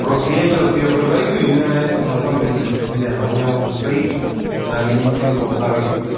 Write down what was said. просто я сейчас её продаю и мне на это на самом деле до пизды она у меня уже стоит наверное недели полторы